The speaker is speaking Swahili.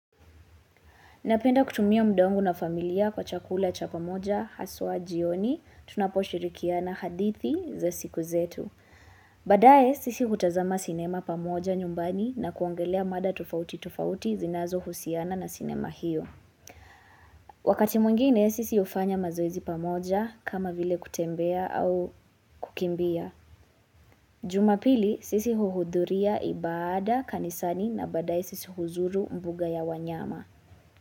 Napenda kutumia muda wangu na familia kwa chakula cha pamoja, haswa jioni, tunaposhirikiana hadithi za siku zetu. Baadaye sisi hutazama sinema pamoja nyumbani na kuongelea mada tofauti tofauti zinazohusiana na sinema hiyo. Wakati mwingine sisi hufanya mazoezi pamoja kama vile kutembea au kukimbia. Jumapili sisi huhudhuria ibada kanisani na baadaye sisi huzuru mbuga ya wanyama.